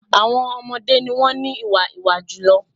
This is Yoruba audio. Àwọn ọmọdẹ́ ni wọ́n ní ìwà ìwá-ìmọ̀ jùlọ.